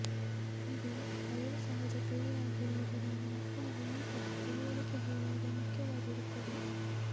ಇದು ವಯೋಸಹಜ ಕ್ರಿಯೆಯಾಗಿರುವುದರಿಂದ ಮಕ್ಕಳಿಗೆ ಈ ಬಗ್ಗೆ ತಿಳುವಳಿಕೆ ಹೇಳುವುದು ಮುಖ್ಯವಾಗಿರುತ್ತದೆ